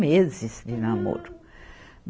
meses de namoro.